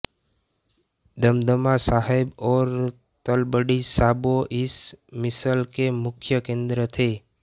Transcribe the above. दमदमा साहब और तलवंडी साबो इस मिसल के मुख्य केन्द्र थे